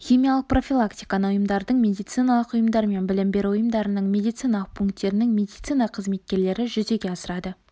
химиялық профилактиканы ұйымдардың медициналық ұйымдар мен білім беру ұйымдарының медициналық пункттерінің медицина қызметкерлері жүзеге асырады